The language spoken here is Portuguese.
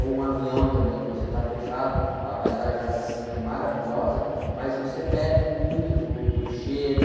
ou um avião também que você está fechado, a paisagem lá de cima é maravilhosa, mas você perde muito do, do cheiro.